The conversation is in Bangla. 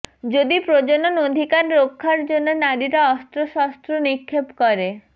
যদি প্রজনন অধিকার রক্ষার জন্য নারীরা অস্ত্রশস্ত্র নিক্ষেপ করে